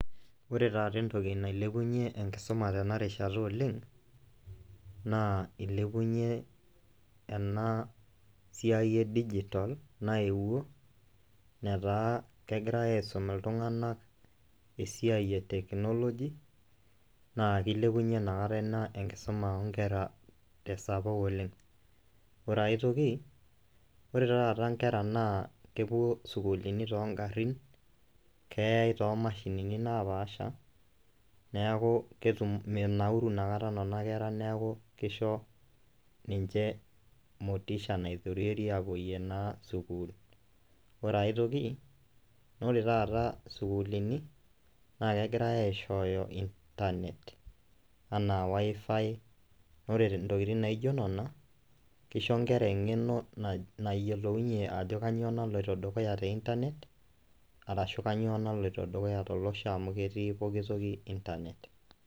Ore taata entoki nailepunyie enkisuma tena rishata naa ilepunyie ena siai e digital naewuo , netaa kegirae aisum iltunganak enkisuma e tenchnology naa kilepunyie ina kata ina tesapuk oleng. Ore ae toki , ore taata inkera naa kepuo isukuulini toongarin , keyay too mashinini naapasha neaku ketum, menauru inakata nena kera niaku kisho ninche motisha naitorierie naa apuoyie naa sukuul. Ore ae toki naa ore taata isukuulini naa kegirae aishooyo internet anaa wifi , naa ore intokitin naijo nena , kisho inkera engeno nayiolounyie ajo kainyioo naloito dukuya te internet arashu kainyioo naloito dukuya amu ketii pooki toki internet.